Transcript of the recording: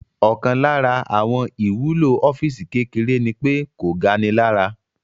Ọkàn lára àwọn ìwúlò ọ́físì kékeré ní pé kò ga ni lára